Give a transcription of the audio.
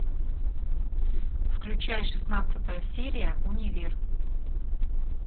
включай шестнадцатая серия универ